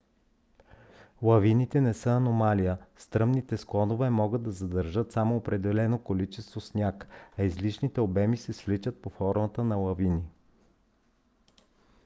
лавините не са аномалия; стръмните склонове могат да задържат само определено количество сняг а излишните обеми се свличат под формата на лавини